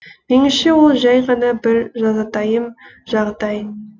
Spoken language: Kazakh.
меніңше ол жай ғана бір жазатайым жағдай